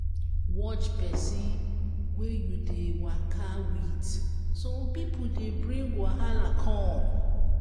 watch person wey you dey waka with some pipo dey bring wahala come